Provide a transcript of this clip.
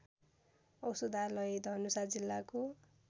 औषधालय धनुषा जिल्लाको